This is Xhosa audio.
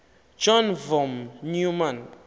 john von neumann